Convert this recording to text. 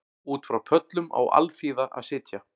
Út frá pöllum á alþýða að sitja